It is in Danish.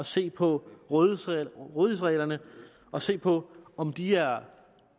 se på rådighedsreglerne og se på om de er